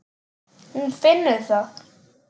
Hún finnur það.